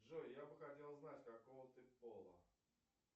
джой я бы хотел знать какого ты пола